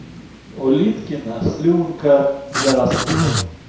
улиткина слюнка пидораса кусок